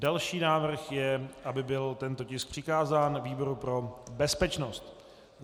Další návrh je, aby byl tento tisk přikázán výboru pro bezpečnost.